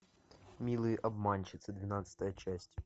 милые обманщицы двенадцатая часть